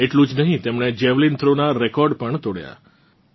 આટલું જ નહીં તેમણે જાવેલિન થ્રો નાં રેકોર્ડ પણ તોડ્યાં